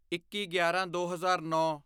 ਇੱਕੀਗਿਆਰਾਂਦੋ ਹਜ਼ਾਰ ਨੌਂ